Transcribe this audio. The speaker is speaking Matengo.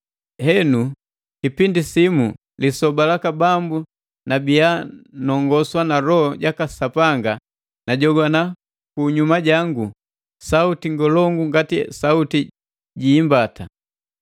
Henu kipindi simu, lisoba laka Bambu nabia nongoswa na Loho jaka Sapanga, najogwana ku unyuma jangu sauti ngolongu ngati sauti ji imbata.